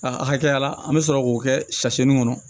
Aa hakɛya la an bɛ sɔrɔ k'o kɛ si nin kɔnɔ